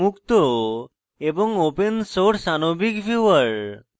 একটি মুক্ত এবং open source আনবিক viewer